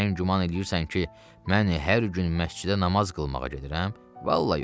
Sən güman eləyirsən ki, mən hər gün məscidə namaz qılmağa gedirəm, vallah yox.